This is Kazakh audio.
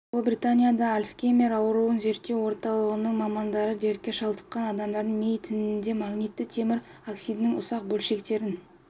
ұлыбританияда альцгеймер ауруын зерттеу орталығының мамандары дертке шалдыққан адамдардың ми тінінде магнитті темір оксидінің ұсақ бөлшектерін